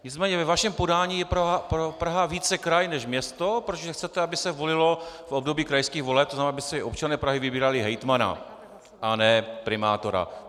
Nicméně ve vašem podání je Praha více kraj než město, protože chcete, aby se volilo v období krajských voleb, to znamená, aby si občané Prahy vybírali hejtmana a ne primátora.